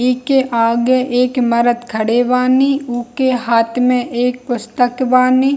इ के आगे एक मर्द खड़े बानी उ के हाथ में एक पुस्तक बानी।